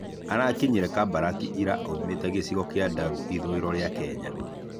Arakinyire Kabarak ira aumĩte gĩcigo kĩa Ndaru ithũĩro rĩa Kenya.